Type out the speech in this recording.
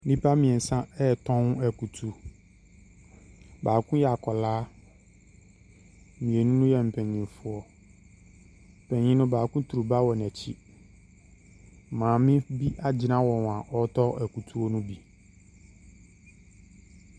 Nnipa mmiɛnsa ɛretɔn akutu, baako yɛ akwadaa, mmienu yɛ mpanimfoɔ. Panin no baako turu ba wɔ n’akyi. Maame bi agyina wɔn a ɔretɔ akutuo ne bi.